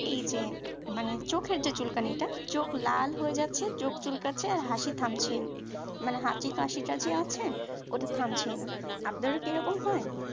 এই যে মানে চোখের যে চুল কানিটা চোখ লাল হয়ে যাচ্ছে চোখ চুল কাচ্ছে হাসি থামছেই না মানে হাঁচি কাশিটা যে আছেই ওটা থামছেই না আপনারাও কি এরকম হয়